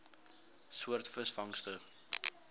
soort visvangste